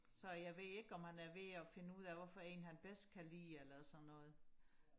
så jeg ved ikke om han er ved og finde ud af hvad for en han bedst kan lide eller sådan noget